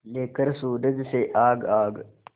लेकर सूरज से आग आग